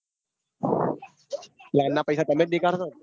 Plane ના પઇસા તમે જ નીકળશો ને